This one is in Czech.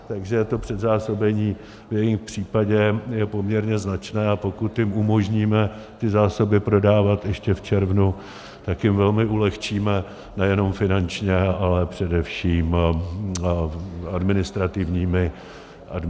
Takže to předzásobení v jejich případě je poměrně značné, a pokud jim umožníme ty zásoby prodávat ještě v červnu, tak jim velmi ulehčíme nejenom finančně, ale především administrativními náklady.